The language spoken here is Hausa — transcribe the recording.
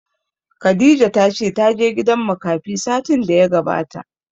Khadijah ta ce ta je gidan makafi satin da ya gabata